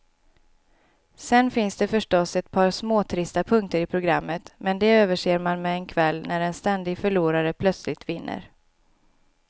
Sen finns det förstås ett par småtrista punkter i programmet, men de överser man med en kväll när en ständig förlorare plötsligt vinner.